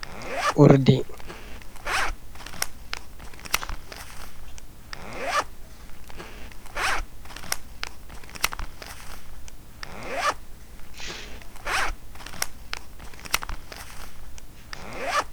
Urdi ɓeɗon naftira bee urdi haa suusuki ɓanndu, haa fahin urdi ɗo itta kaccheli haa ɓanndu innu aadama.